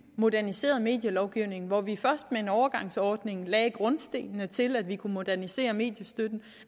moderniseret medielovgivning hvor vi med en overgangsordning lagde grundstenene til at vi kunne modernisere mediestøtten